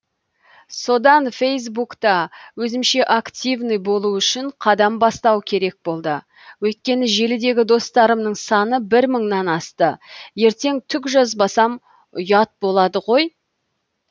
содан фейсбукта өзімше активный болу үшін қадам бастау керек болды өйткені желідегі достарымның саны бір мыңнан асты ертең түк жазбасам ұят болады ғой